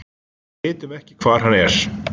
Við vitum ekki hvar hann er.